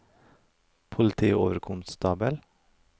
politioverkonstabel